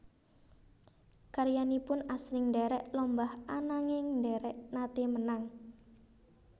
Karyanipun asring ndherek lomba ananging dereng nate menang